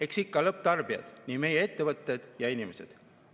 Eks ikka lõpptarbijad, meie ettevõtted ja inimesed.